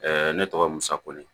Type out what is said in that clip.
ne tɔgɔ musa ko ni